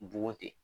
Bogo ten